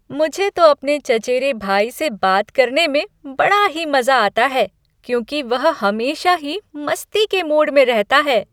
मुझे तो अपने चचेरे भाई से बात करने में बड़ा ही मज़ा आता है, क्योंकि वह हमेशा ही मस्ती के मूड में रहता है।